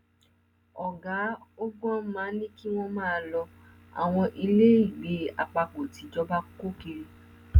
ọgá ogwma ní kí wọn máa lo àwọn ilé ìgbẹ àpapọ tìjọba kọ kiri